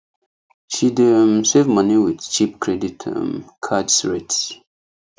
she dey um save money with cheap credit um cards rate